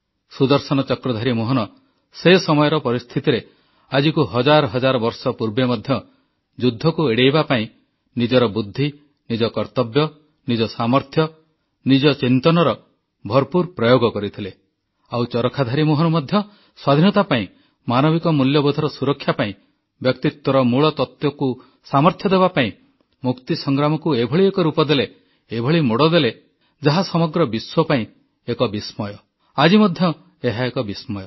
ସୁଦର୍ଶନ ଚକ୍ରଧାରୀ ମୋହନ ସେ ସମୟର ପରିସ୍ଥିତିରେ ଆଜିକୁ ହଜାର ହଜାର ବର୍ଷ ପୂର୍ବେ ମଧ୍ୟ ଯୁଦ୍ଧକୁ ଏଡାଇବା ପାଇଁ ନିଜର ବୁଦ୍ଧି ନିଜ କର୍ତ୍ତବ୍ୟ ନିଜ ସାମର୍ଥ୍ୟ ନିଜ ଚିନ୍ତନର ଭରପୁର ପ୍ରୟୋଗ କରିଥିଲେ ଆଉ ଚରଖାଧାରୀ ମୋହନ ମଧ୍ୟ ସ୍ୱାଧୀନତା ପାଇଁ ମାନବିକ ମୂଲ୍ୟବୋଧର ସୁରକ୍ଷା ପାଇଁ ବ୍ୟକ୍ତିତ୍ୱର ମୂଳତତ୍ୱକୁ ସାମର୍ଥ୍ୟ ଦେବାପାଇଁ ମୁକ୍ତି ସଂଗ୍ରାମକୁ ଏଭଳି ଏକ ରୂପ ଦେଲେ ଏଭଳି ମୋଡ଼ ଦେଲେ ଯାହା ସମଗ୍ର ବିଶ୍ୱ ପାଇଁ ଏକ ବିସ୍ମୟ ଆଜି ମଧ୍ୟ ଏହା ଏକ ବିସ୍ମୟ